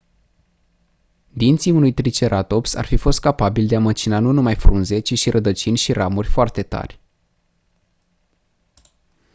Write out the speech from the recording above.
dinții unui triceratops ar fi fost capabili de a măcina nu numai frunze ci și rădăcini și ramuri foarte tari